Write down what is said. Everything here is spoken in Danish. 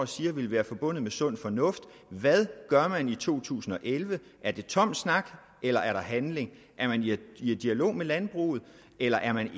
siger vil være forbundet med sund fornuft hvad gør man i 2011 er det tom snak eller er der handling er man i dialog med landbruget eller er man